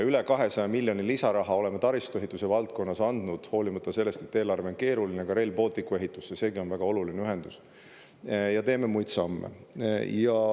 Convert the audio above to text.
Üle 200 miljoni lisaraha oleme taristuehituse valdkonnas andnud hoolimata sellest, et eelarve on keeruline, ka Rail Balticu ehitusse, seegi on väga oluline ühendus, ja teeme muid samme.